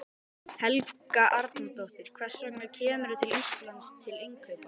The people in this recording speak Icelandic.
Helga Arnardóttir: Hvers vegna kemurðu til Íslands til innkaupa?